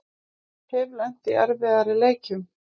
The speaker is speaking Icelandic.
Hef lent í erfiðari leikjum